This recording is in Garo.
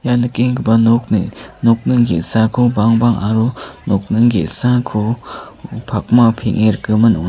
ia nikenggipa nokni nokning ge·sako bangbang aro nokning ge·sako pakma peng·e rikgimin ong·a.